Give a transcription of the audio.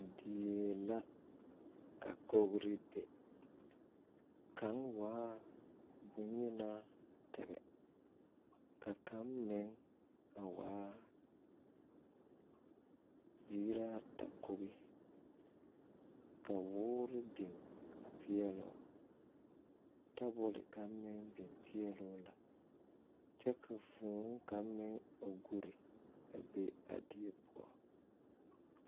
Deɛ la ka kogri be kang waa bunyenaa tege ka kang meng a waa ziiraa ata kogi ka wuuri beng a peɛloo tabol kanga meng bing peɛloo la kye ka vũũ kanga meng a gɔri a be a deɛ pou.